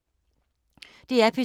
DR P2